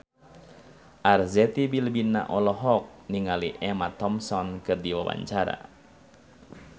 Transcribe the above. Arzetti Bilbina olohok ningali Emma Thompson keur diwawancara